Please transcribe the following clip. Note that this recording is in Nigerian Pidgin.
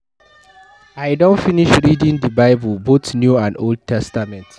I don finish reading the Bible both new and old testament.